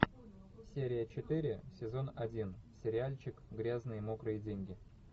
серия четыре сезон один сериальчик грязные мокрые деньги